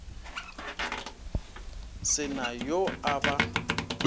se na yo a ba